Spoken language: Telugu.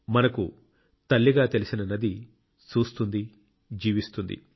మనకు తల్లిగా తెలిసిన నది చూస్తుంది జీవిస్తుంది